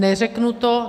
Neřeknu to.